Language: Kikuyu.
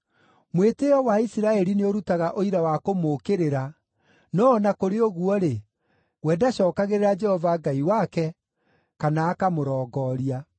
Mwĩtĩĩo wa Isiraeli nĩũrutaga ũira wa kũmũũkĩrĩra, no o na kũrĩ ũguo-rĩ, we ndacookagĩrĩra Jehova Ngai wake, kana akamũrongooria.